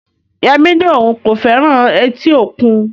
Yemi ní òun kò fẹ́ràn etí òkun